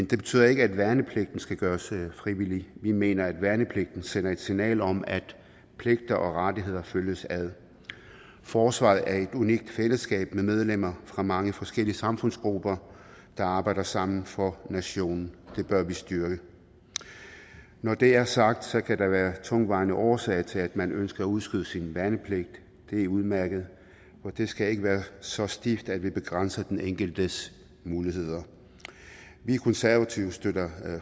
det betyder ikke at værnepligten skal gøres frivillig vi mener at værnepligten sender et signal om at pligter og rettigheder følges ad forsvaret er et unikt fællesskab med medlemmer fra mange forskellige samfundsgrupper der arbejder sammen for nationen det bør vi styrke når det er sagt kan der være tungtvejende årsager til at man ønsker at udskyde sin værnepligt det er udmærket for det skal ikke være så stift at vi begrænser den enkeltes muligheder vi konservative støtter